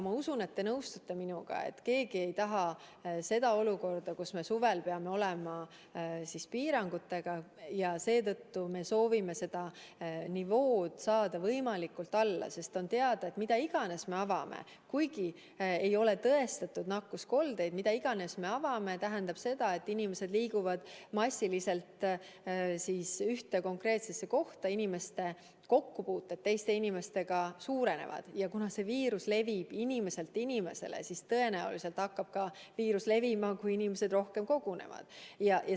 Ma usun, et te nõustute minuga, et keegi ei taha olukorda, kus me suvel peame olema piirangutega, ja seetõttu me soovime saada selle nivoo võimalikult alla, sest on teada, et mida iganes me avame – kuigi ei ole tõestatud nakkuskoldeid –, tähendab see seda, et inimesed liiguvad massiliselt ühte konkreetsesse kohta, inimeste kokkupuuted teiste inimestega suurenevad ja kuna see viirus levib inimeselt inimesele, siis tõenäoliselt hakkab ka viirus levima, kui inimesed rohkem kogunevad.